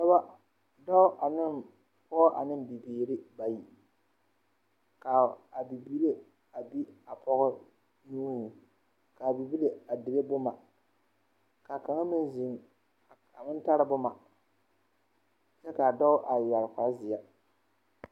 Pɔɡɔ dɔɔ ane pɔɡɔ ane bibiiri bayi ka a bibiiri a be a pɔɡɔ nui ka a bibile a dire boma ka kaŋa meŋ zeŋ a meŋ tara boma kyɛ ka a dɔɔ yɛre kparzeɛ.